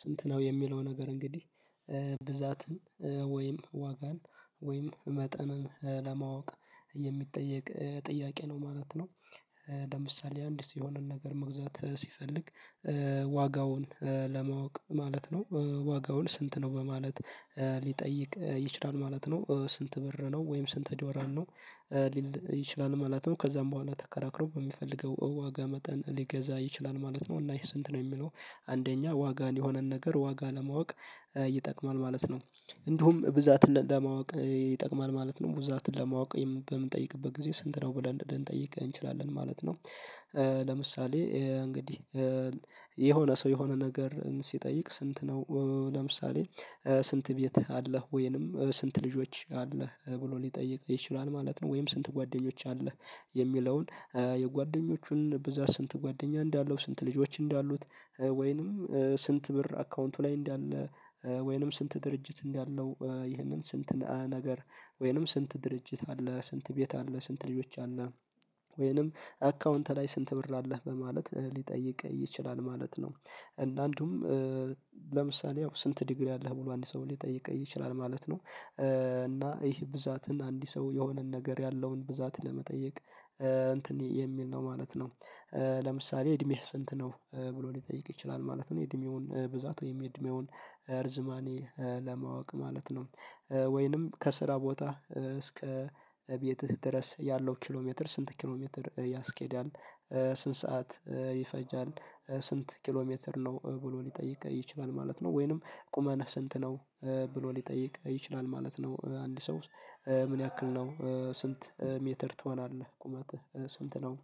ስንት ነው? የሚለው ነገር እንግዲህ ብዛትን ወይም ዋጋን ወይም መጠንን ለማወቅ የሚጠየቅ ጥያቄ ነው ማለት ነው። ለምሳሌ አንድ ስሆንን ነገር መግዛት ስፈልግ ዋጋውን ለማወቅ ማለት ነው? ዋጋውን ስንት ነው? በማለት ልጠይቅ ይችላል ማለት ነው። ስንት ብር ነው? ወይም ስንት ዶላር ነው? ሊል ይችላል ማለት ነው። ከዛም በኋላ ተከራክሮ በሚፈልገው ዋጋ መጠን ሊገዛ ይችላል ማለት ነው፤ እና ይሄ ስንት ነው የሚለው አንደኛ ዋጋን የሆነን ነገር ዋጋ ለማወቅ ይጠቅማል ማለት ነው፤ እንዲሁም ብዛትን ለማወቅ ይጠቅማል ማለት ነው፤ ብዛትን ለማወቅ በምንጠይቅበት ጊዜ ስንት ነው ብለን እንጠይቅ እንችላለን ማለት ነው። ለምሳሌ እንግዲህ የሆነ ሰው የሆነ ነገር ስጠይቅ ስንት ነው? ለምሳሌ ስንት ቤትህ አለህ ወይ ነው? ስንት ልጆች አለህ? ብሎ ልጠይቅ ይችላል ማለት ነው? ወይም ስንት ጓደኞች አለህ? የሚለውን የጓደኞችን ብዛት ስንት ጓደኛ እንዳለው ስንት ልጆች እንዳሉት ወይንም፤ ስንት ብር አካውንቱ ላይ እንዳለ ወይንም ስንት ድርጅት እንዳለው፤ ይህንን ስንት ነገር ወይንም ስንት ድርጅት አለ? ስንት ቤት አለ? ስንት ልጆች አለ? ወይንም አካውንት ላይ ስንት ብር አለህ? በማለት ሊጠይቅ ይችላል ማለት ነው። እንደ አንዱም ለምሳሌ ያው ስንት ዲግሪ አለህ? ብሎ አንድ ሰው ልጠይቅ ይችላል ማለት ነው። እና ይሄ ብዛትን አንድ ሰው የሆነን ነገር ያለውን ብዛት ለመጠየቅ እንትን የሚል ነው ማለት ነው። ለምሳሌ እድሜህ ስንት ነው? ብሎ ልጠይቅ ይችላል ማለት ነው፤ እድሜውን ብዛት ወይም እድሜውን እርዝማኔ ለማወቅ ማለት ነው። ወይንም ከስራ ቦታ እስከ ቤትህ ድረስ ያለው ኪሎ ሜትር ስንት ኪሎ ሜትር ያስኬዳል? ስንት ሰዓት ይፈጃል? ስንት ኪሎ ሜትር ነው ብሎ ልጠይቅ ይችላል ማለት ነው። ወይንም ቁመት ስንት ነው? ብሎ ሊጠይቅ ይችላል ማለት ነው። አንድ ሰው ምን ያክል ነው? ስንት ሜትር ትሆናለህ? ቁመትህ ስንት ነው?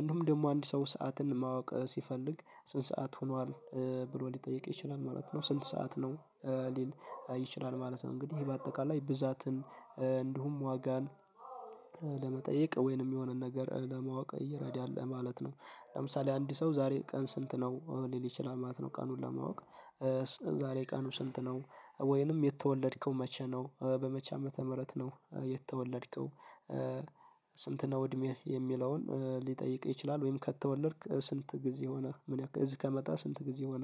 እንዲሁም ደግሞ አንድ ሰው ሰዓትን ማወቅ ስፈልግ ስንት ሰዓት ሆኗል? ብሎ ልጠይቅ ይችላል፤ ማለት ነው ስንት ሰዓት ነው? ሊል ይችላል ማለት ነው እንግዲህ በአጠቃላይ ብዛትን እንዲሁም ዋጋን ለመጠየቅ ወይንም የሆነን ነገር ለማወቅ እየረዳህ ማለት ነው፤ ለምሳሌ አንድ ሰው ዛሬ ቀን ስንት ነው? ሊል ይችላል ማለት ነው ቀኑን ለማወቅ ዛሬ ቀኑ ስንት ነው? ወይንም የተወለድከው መቼ ነው? በመቼ ዓመተ ምህረት ነው የተወለድከው? ስንት ነው እድሜ? የሚለውን ልጠይቅ ይችላል? ወይም ከተወለድክ ስንት ጊዜ ሆነህ? ምን እዚህ ከመጣ ስንት ጊዜ ሆነህ?